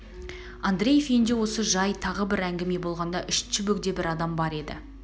андреев үйінде осы жай тағы бір әңгіме болғанда үшінші бөгде бір адам бар еді